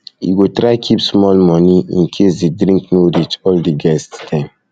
you go try keep small moni incase di drink no reach um all di guest dem